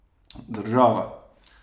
Država.